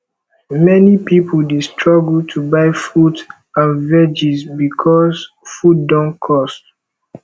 many pipo dey struggle to buy fruits and veggies bicos food don cost